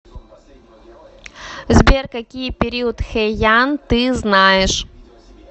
сбер какие период хэйан ты знаешь